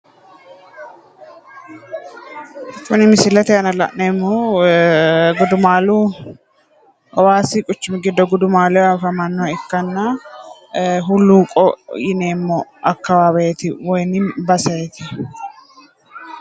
Tini misilete aana la'neemmohu gudumaalu hawaasi quchumi giddo gudumaaleho afamannoha ikkanna hulluuqo yineemmo akkawaweeti baseeti